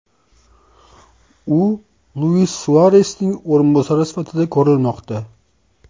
U Luis Suaresning o‘rinbosari sifatida ko‘rilmoqda.